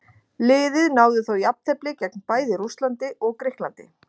Liðið náði þó jafntefli gegn bæði Rússlandi og Grikklandi.